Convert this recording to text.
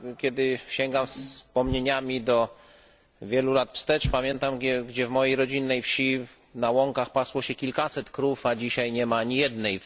Kiedy sięgam wspomnieniami wiele lat wstecz, pamiętam, że w mojej rodzinnej wsi na łąkach pasło się kilkaset krów, a dzisiaj nie ma ani jednej.